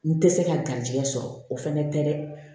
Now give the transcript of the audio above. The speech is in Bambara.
N tɛ se ka garijɛgɛ sɔrɔ o fana tɛ dɛ